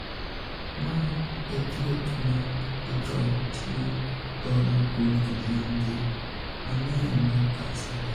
Ma e thieth ma ithor tii godo kuom kidienje mang'eny mag kansa remo.